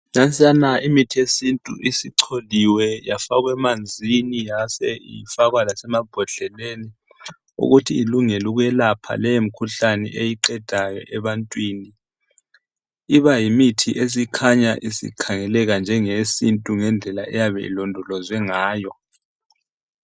Nansiyana imithi yesintu isicholiwe yafakwa emanzini yase ifakwa lasemambodleleni ukuthi ilungele ukwelapha leyo mikhuhlane eyiqedayo ebantwini. Iba yimithi esikhanya isikhangeleka njenge yesintu ngendlela eyabe ilodolozwe ngayo.